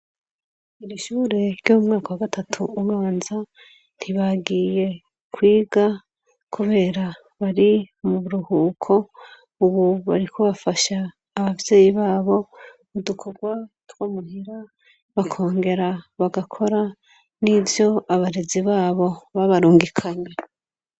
Irishure ry'umwaka wa gatatu ubanza ntibagiye kwiga, kubera bari mu ruhuko, ubu barikobafasha abavyeyi babo udukorwa twamuhira bakongera bagakora n'ivyo abarezi babo babarungike kanya.